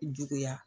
Juguya